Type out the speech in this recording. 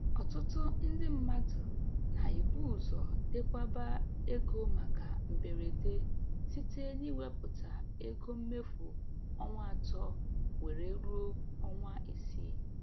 Ọtụtụ ndị mmadụ na-ebu ụzọ dekwaba ego maka mberede site n'iwepụta ego mmefu ọnwa atọ were ruo ọnwa isii.